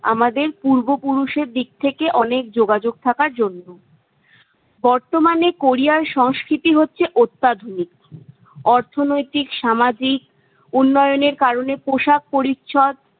আমাদের পূর্বপুরুষ এর দিক থেকে অনেক যোগাযোগ থাকা জরুরি। বর্তমানে কোরিয়ার সংস্কৃতি হচ্ছে অত্যাধুনিক। অর্থনৈতিক, সামাজিক উন্নয়নের কারণে পোশাক পরিচ্ছদ-